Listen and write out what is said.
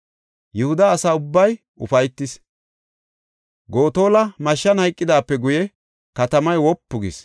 Yihuda asa ubbay ufaytis. Gotola mashshan hayqidaape guye katamay wopu gis.